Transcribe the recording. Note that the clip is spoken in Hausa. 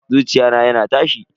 Zuciya na yana tashi.